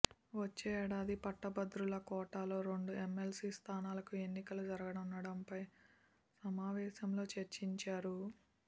వచ్చే ఏడాది పట్టభద్రుల కోటాలో రెండు ఎమ్మెల్సీ స్థానాలకు ఎన్నికలు జరగనుండడంపై సమావేశంలో చర్చించారు